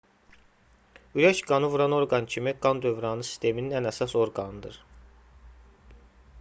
ürək qanı vuran orqan kimi qan dövranı sisteminin ən əsas orqanıdır